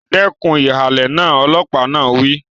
Dẹ́kun ìhàlẹ̀ náà! Ọlọ́pàá náà wí.